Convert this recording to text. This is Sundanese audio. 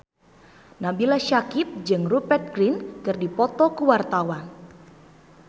Nabila Syakieb jeung Rupert Grin keur dipoto ku wartawan